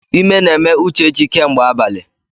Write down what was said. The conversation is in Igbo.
Ime na-eme Uchechi kemgbe abalị.